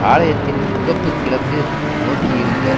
ஆலயத்தின் முகப்பு கிழக்கு நோக்கியிருந்தது